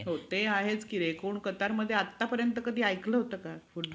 ज्यांनी जिजामाता यांच्या मार्गदर्शना खाली स्वराज्याची घडी बसवली. जिजामाता यांना